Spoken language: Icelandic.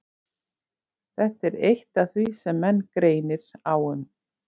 Þetta er eitt af því sem menn greinir á um.